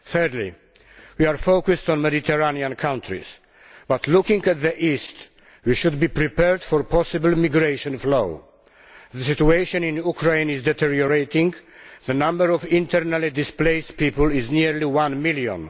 Thirdly, we are focused on Mediterranean countries but, looking to the east, we should be prepared for a possible immigration flow. The situation in Ukraine is deteriorating and the number of internally displaced people is nearly one million.